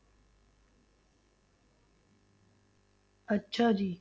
ਅੱਛਾ ਜੀ।